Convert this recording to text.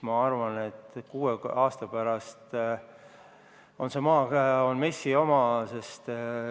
Ma arvan, et kuue aasta pärast on see maa MES-i oma.